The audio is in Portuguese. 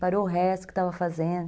Parou o resto que estava fazendo.